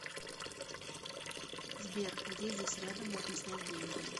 сбер где здесь рядом можно снять деньги